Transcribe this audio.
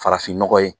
Farafin nɔgɔ ye